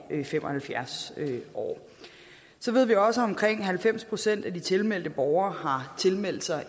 fem og halvfjerds år så ved vi også at omkring halvfems procent af de tilmeldte borgere har tilmeldt sig